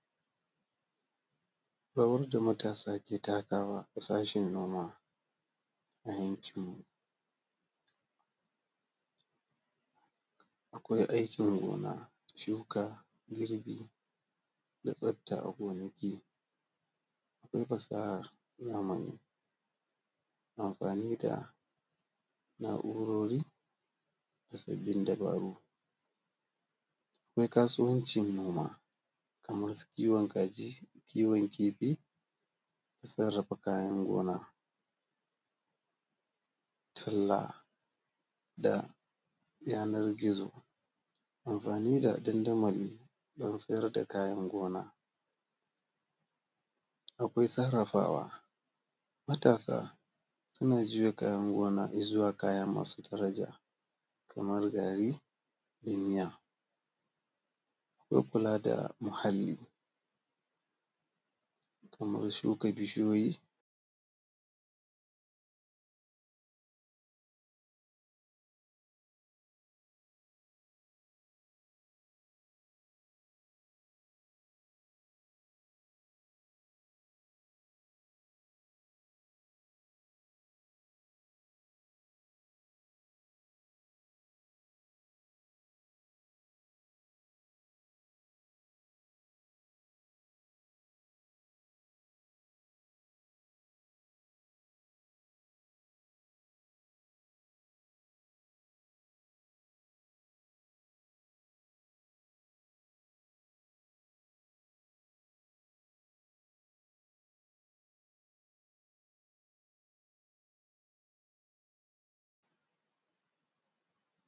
Rawar da matasa ke takawa a sashin noma a yankinmu. Akwai aikin gona, shuka, girbi da tsaftace a gonaki, akwai fasahar amfani da na’urori sabbin dabaru, akwai kasuwancin noma kaman su kiwon kaji, kiwon kifi. Sarrafa kayan gona talla ta yanar gizo, amfani da dandamali dan sayar da kayan gona, akwai sarrafawa, matasa suna juya kayan gona izuwa kaya masu daraja kuma kamar gari ɗinya. Akwai kula da muhalli kamar shuka bishiyoyi